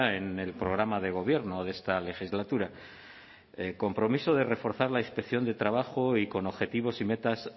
en el programa de gobierno de esta legislatura compromiso de reforzar la inspección de trabajo y con objetivos y metas